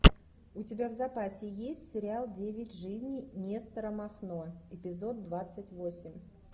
у тебя в запасе есть сериал девять жизней нестора махно эпизод двадцать восемь